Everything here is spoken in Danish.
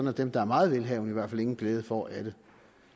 at dem der er meget velhavende i hvert fald ingen glæde får af det